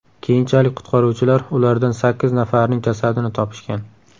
Keyinchalik qutqaruvchilar ulardan sakkiz nafarining jasadini topishgan.